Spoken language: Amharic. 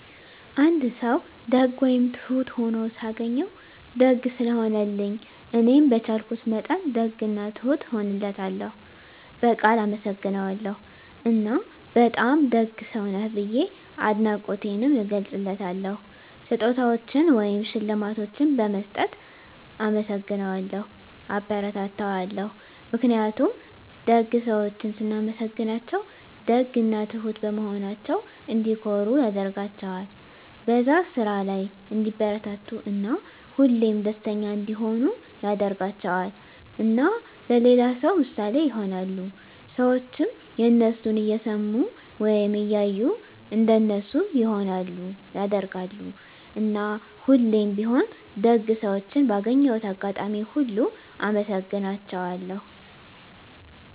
አንድ ሰዉ ደግ ወይም ትሁት ሁኖ ሳገኘዉ፤ ደግ ስለሆነልኝ እኔም በቻልኩት መጠን ደግ እና ትሁት እሆንለታለሁ፣ በቃል አመሰግነዋለሁ እና በጣም ደግ ሰዉ ነህ ብዬ አድናቆቴንም እገልፅለታለሁ። ስጦታዎችን ወይም ሽልማቶችን በመስጠት እናመሰግነዋለሁ (አበረታታዋለሁ) ። ምክንያቱም ደግ ሰዎችን ስናመሰግናቸዉ ደግ እና ትሁት በመሆናቸዉ እንዲኮሩ ያደርጋቸዋል፣ በዛ ስራ ላይ እንዲበረታቱ እና ሁሌም ደስተኛ እንዲሆኑ ያደርጋቸዋል። እና ለሌላ ሰዉ ምሳሌ ይሆናሉ። ሰዎችም የነሱን እየሰሙ ወይም እያዩ እንደነሱ ይሆናሉ (ያደርጋሉ)። እና ሁሌም ቢሆን ደግ ሰዎችን ባገኘሁት አጋጣሚ ሁሉ አመሰግናቸዋለሁ።